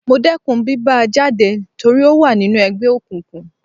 Mo dẹkùn bí bá a jáde torí ó wà nínú ẹgbẹ́ òkùnkùn.